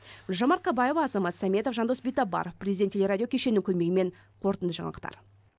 гүлжан марқабаева азамат сәметов жандос битабаров президент телерадио кешенінің көмегімен қорытынды жаңалықтар